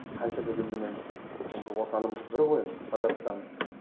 қанша дегенменен енді отанымыз бір ғой қазақстан